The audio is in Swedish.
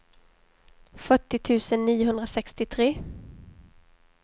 fyrtio tusen niohundrasextiotre